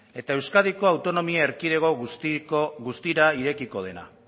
eta euskadiko autonomia erkidego guztira irekiko dena